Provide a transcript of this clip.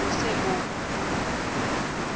o be o se o